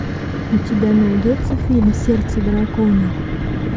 у тебя найдется фильм сердце дракона